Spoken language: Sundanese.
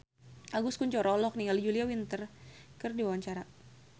Agus Kuncoro olohok ningali Julia Winter keur diwawancara